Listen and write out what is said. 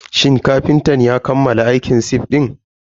Shin kafintan ya kammala aikin sif din?